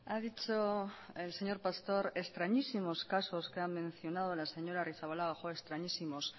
ha dicho el señor pastor extrañísimos casos que ha mencionado la señora arrizabalaga joe extrañísimos